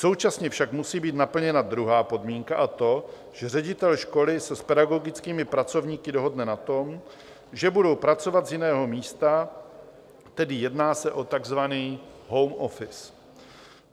Současně však musí být naplněna druhá podmínka, a to, že ředitel školy se s pedagogickými pracovníky dohodne na tom, že budou pracovat z jiného místa, tedy jedná se o takzvaný home office.